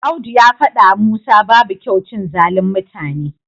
Audu ya faɗawa Musa babu kyau cin zalin mutane.